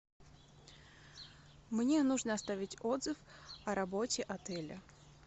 мне нужно оставить отзыв о работе отеля